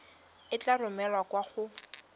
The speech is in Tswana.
e tla romelwa kwa go